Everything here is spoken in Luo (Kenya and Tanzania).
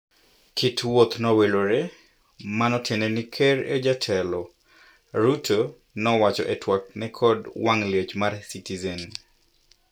Kit wuoth nowilore. Mano tiende ni ker e jatelo," Ruto nowacho e twak ne kod wang' liech mar Citizen.